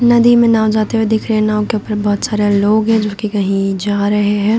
नदी में नाव जाते हुए दिख रहे हैं नाव के ऊपर बहोत सारे लोग है जो की कही जा रहे है।